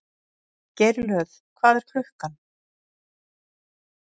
Geirlöð, hvað er klukkan?